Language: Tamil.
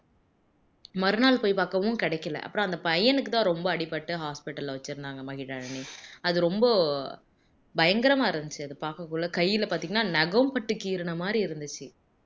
மறுநாள் போயி பாக்கவும் கிடைக்கல அப்புறம் அந்த பையனுக்கு தான் ரொம்ப அடிபட்டு hospital ல வச்சிருந்தாங்க மகிழினி அது ரொம்ப பயங்கரமா இருந்திச்சு அது பாக்கக்குள்ள கையில பாத்தீங்கன்னா நகம் பட்டு கீருன மாதிரி இருந்திச்சு